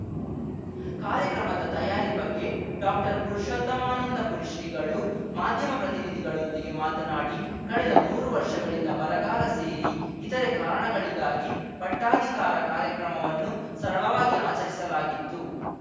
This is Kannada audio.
ಕಾರ್ಯಕ್ರಮದ ತಯಾರಿ ಬಗ್ಗೆ ಡಾಕ್ಟರ್ಪುರುಷೋತ್ತಮಾನಂದಪುರಿ ಶ್ರೀಗಳು ಮಾಧ್ಯಮ ಪ್ರತಿನಿಧಿಗಳೊಂದಿಗೆ ಮಾತನಾಡಿ ಕಳೆದ ಮೂರು ವರ್ಷಗಳಿಂದ ಬರಗಾಲ ಸೇರಿ ಇತರೆ ಕಾರಣಗಳಿಗಾಗಿ ಪಟ್ಟಾಧಿಕಾರ ಕಾರ್ಯಕ್ರಮವನ್ನು ಸರಳವಾಗಿ ಆಚರಿಸಲಾಗಿತ್ತು